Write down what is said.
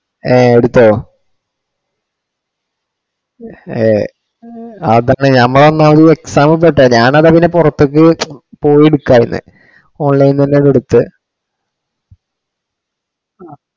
ഏ എടുത്തോ ഹേ അതാണ് നമ്മളാക്കുമ്പം അഹ് ഒരു exam ഒക്കെ ഇട്ടോ. ഞാൻ അതാ പിന്നെ പുറത്തേക്കു പോയെടുക്കുവാ ചെയ്യുന്നേ online തന്നെ എടുത്ത്‌